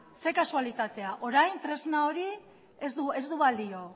zer kasualitatea orain tresna hori ez du balio